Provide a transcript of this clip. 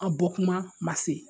An bɔkuma ma se